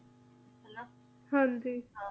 ਹਨ ਜੀ